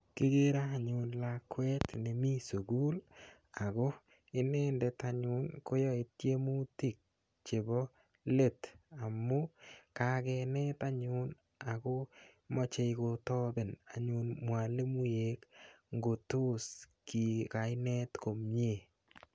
Kikere anyun lakwet nemi sukul ako inendet anyun ko yae tiemutik chepo let amu kakinet anyun ako mache kotapen anyun mwalimuek ngo tos ki ka inet komye.